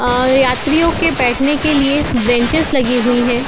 यात्रियों के बैठने के लिए अ ब्रेनचेस लगी हुई हैं।